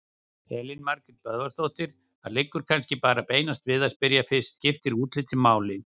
Elín Margrét Böðvarsdóttir: Það liggur kannski bara beinast við að spyrja fyrst: Skiptir útlitið máli?